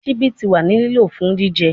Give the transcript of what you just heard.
Sibi ti wa ni lilo fun jijẹ